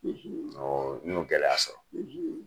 awɔɔ n y'o gɛlɛya sɔrɔ.